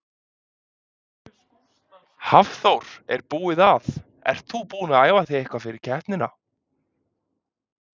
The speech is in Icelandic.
Hafþór: Er búið að, ertu búin að æfa þig eitthvað fyrir keppnina?